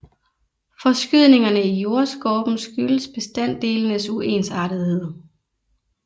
Forskydningerne i jordskorpen skyldes bestanddelenes uensartethed